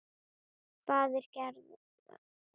Faðir Gerðar.